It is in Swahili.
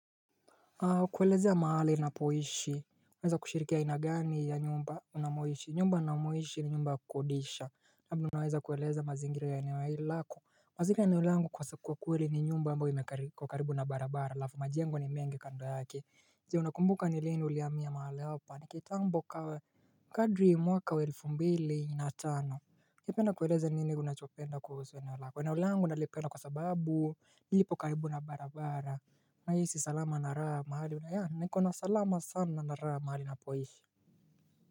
Kwelezea ya mahali ninapoishi uweza kushirikia ainagani ya nyumba ninamoishi, nyumba ninamoishi ni nyumba kukodisha labda ninaweza kweleza mazingira ya eneo hili lako mazigira ya eneo langu kwa sikuwa kuweli ni nyumba ambayo iko karibu na barabara alafu majengo ni mengi kando yake je unakumbuka ni lini hulihamia mahali hapa ni kitambo kawa Kadri mwaka wa elfu mbili natano nigependa kweleze nini unachopenda kuhusu eneo langu, eneo langu nalipenda kwa sababu lipo karibu na barabara na hisi salama naraha mahali una ya niko na salama sana naraha mahali napoishi.